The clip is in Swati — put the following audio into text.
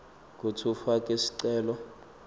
kutsi ufake sicelo